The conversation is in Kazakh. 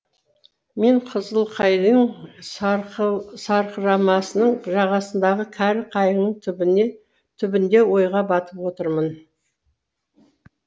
мен қызылқайың сарқырамасының жағасындағы кәрі қайыңның түбінде ойға батып отырмын